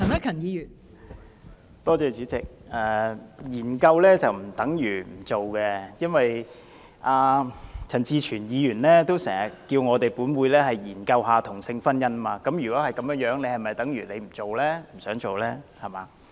代理主席，其實研究並不等於不會推行，陳志全議員也經常呼籲本會研究同性婚姻制度，那是否等於他不想推行呢？